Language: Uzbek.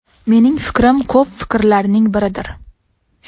Mening fikrim ko‘p fikrlarning biridir.